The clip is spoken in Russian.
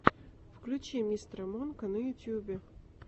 включи мистера монка на ютюбе